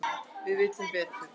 Við vitum betur